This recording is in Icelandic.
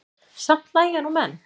Samt hlæja nú menn.